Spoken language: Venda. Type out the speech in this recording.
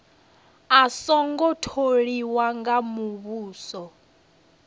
a songo tholiwa nga muvhuso